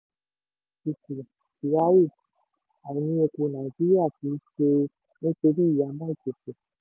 kyari àìní epo nàìjíríà kì í ṣe nítorí ìhámọ́ ìpèsè.